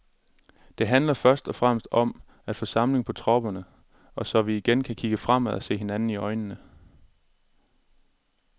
Det handler først og fremmest om at få samling på tropperne, så vi igen kan kigge fremad og se hinanden i øjnene.